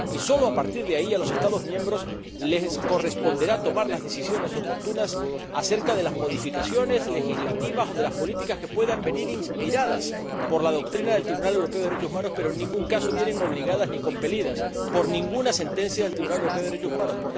Y sólo a partir de ahí, a los Estados miembros les corresponderá tomar las decisiones oportunas acerca de las modificaciones legislativas o de las políticas que puedan venir inspiradas por la doctrina del Tribunal Europeo de Derechos Humanos, pero en ningún caso vienen obligadas ni compelidas por ninguna sentencia del Tribunal Europeo de Derechos Humanos.